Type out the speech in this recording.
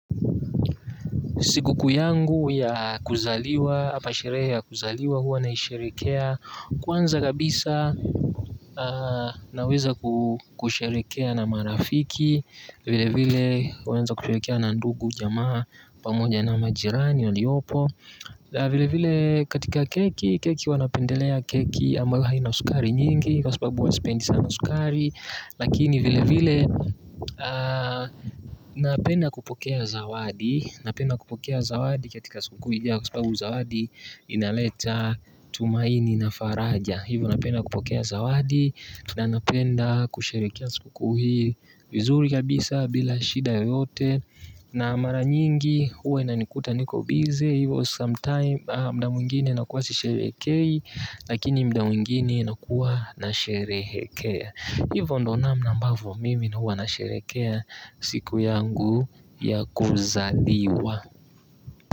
Siku kuu yangu ya kuzaliwa, ama sherehe ya kuzaliwa huwa naisherekea, kwanza kabisa naweza kusherekea na marafiki, vile vile huanza kusherekea na ndugu, jamaa pamoja na majirani waliopo. Na vile vile katika keki, keki huwa napendelea keki ambayo haina sukari nyingi kwa sababu huwa sipendi sana sukari. Lakini vile vile napenda kupokea zawadi, napenda kupokea zawadi katika siku kuu. Kwa sababu zawadi inaleta tumaini na faraja. Hivo napenda kupokea zawadi. Na napenda kusherekea siku kuu hii vizuri kabisa bila shida yote. Na mara nyingi huwa inanikuta niko bizi hivyo sometime muda mwingine nakuwa sisherekei lakini muda mwingine nakuwa nasherekea hivyo ndo namna ambavyo mimi huwa nasherekea siku yangu ya kuzaliwa.